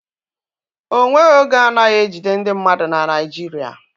Ọnweghi oge anaghị ejide ndị mmadụ na Naijiria